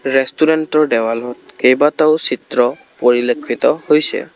ৰেষ্টুৰেণ্টৰ দেৱালত কেইবাটাও চিত্ৰ পৰিলক্ষিত হৈছে।